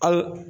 Ayi